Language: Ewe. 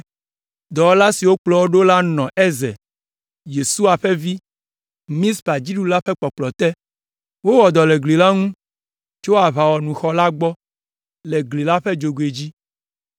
Dɔwɔla siwo kplɔ wo ɖo la nɔ Ezer, Yesua ƒe vi, Mizpa dziɖula ƒe kpɔkplɔ te. Wowɔ dɔ le gli la ŋu tso Aʋawɔnuxɔ la gbɔ le gli la ƒe dzogoe dzi.